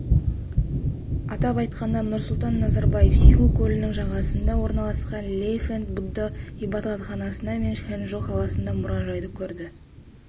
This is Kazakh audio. атап айтқанда нұрсұлтан назарбаев сиху көлінің жағасында орналасқан лэйфэнт будда ғибадатханасы мен ханчжоу қаласындағы мұражайды көрді